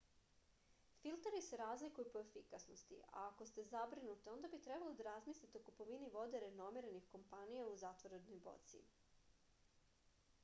filteri se razlikuju po efikasnosti a ako ste zabrinuti onda bi trebalo da razmislite o kupovini vode renomiranih kompanija u zatvorenoj boci